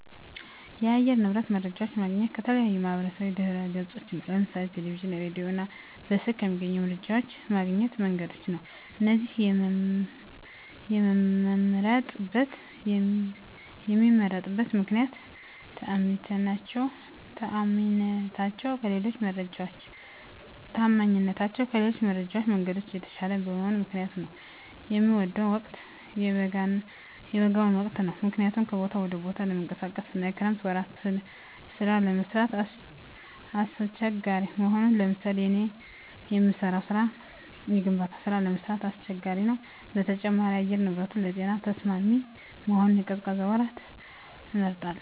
የአየር ንብረት መረጃዎች የማገኘው ከተለያዩ የማህበራዊ ድህረገጾች ነው ለምሳሌ ቴለቪዥን ራዲዮ እና በስልክ ከሚገኙ የመረጃ ማግኛ መንገዶች ነው እነዚህን የመምመርጥበት ምክነያት ተአማኒነታቸው ከሌሎች የመረጃ መንገዶች የተሻለ በመሆኑ ምክንያት ነው። የምወደው ወቅት የበጋውን ወቅት ነው ምክንያቱም ከቦታ ወደ ቦታ ለመንቀሳቀስ አና የክረምት ወራት ስራ ለመስራት አሳቸጋሪ በመሆኑ ለምሳሌ እኔ የምሰራው ስራ የግንባታ ስራ ለመስራት አስቸጋሪ ነው በተጨማሪም የአየር ንብረቱንም ለጤና ተስማሚ በመሆኑ የቅዝቃዜ ወራትን እመርጣለሁ